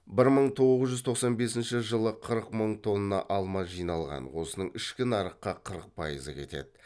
бір мың тоғыз жүз тоқсан бесінші жылы қырық мың тонна алма жиналған осының ішкі нарыққа қырық пайызы кетеді